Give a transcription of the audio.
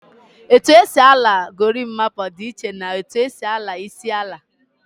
Etu esi ala gorimapa di iche na etu esi ala isi ala